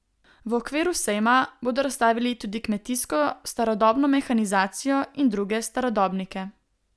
V okviru sejma bodo razstavili tudi kmetijsko starodobno mehanizacijo in druge starodobnike.